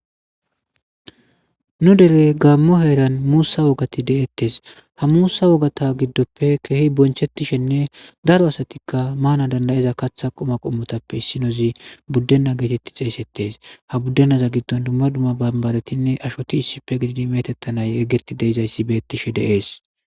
Nu dele gaammo heeran muussa wogati de'ettes ha muusa wogata giddoppe keehi bonchettishenne daro asatikka maana dandayeza katha qoma qommotappe issinozi buddena geetetti xeesettes ha buddenaza giddon dumma dumma bambaretinne ashoti issife gididi metettanaye eggeti deizayssi beettishe deees.